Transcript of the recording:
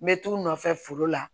N bɛ t'u nɔfɛ foro la